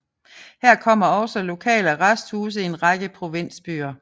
Hertil kommer også lokale arresthuse i en række provinsbyer